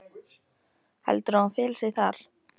Heldurðu að hún feli sig þar?